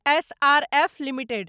SRF limited